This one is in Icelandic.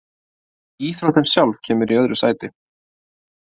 Íþróttin sjálf kemur í öðru sæti.